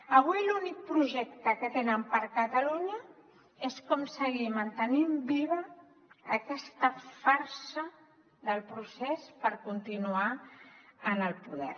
avui l’únic projecte que tenen per a catalunya és com seguir mantenint viva aquesta farsa del procés per continuar en el poder